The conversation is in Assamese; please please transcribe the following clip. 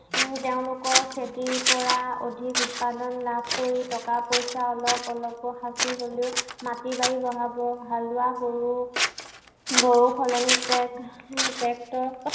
উম তেওঁলোকৰ খেতিৰ পৰা অধিক উৎপাদন কৰি টকা পইচা অলপ অলপ সাঁচি হলেও মাটি বাৰী বঢ়াব। হালোৱা গৰু, গৰুৰ সলনি ট্ৰে এৰ ট্ৰেক্টৰ